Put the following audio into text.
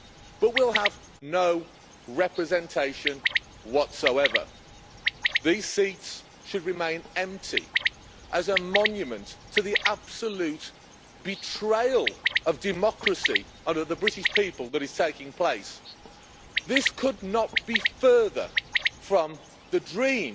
but we will have no representation whatsoever. These seats should remain empty as a monument to the absolute betrayal of democracy and of the British people that is taking place. This could not be further from the dream